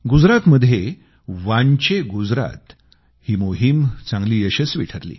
गुजरातमध्ये वांचे गुजरात ही मोहीम चांगली यशस्वी ठरली